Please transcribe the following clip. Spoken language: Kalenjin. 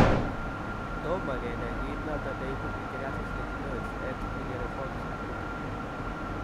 Tomo kenai kiit notok neibu pityriasis lichenoides et varioliformis acuta